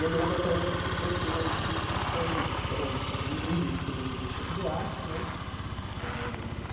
E eu me lembro até hoje que os dois primeiros discos foi foram um um disco do do Chico Buarque, né? Eh